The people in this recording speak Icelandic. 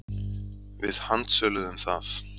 Við handsöluðum það.